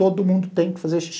Todo mundo tem que fazer xixi.